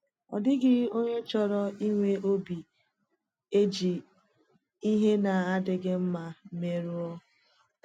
Ọ dịghị onye chọrọ inwe obi e ji ihe na-adịghị mmā merụọ.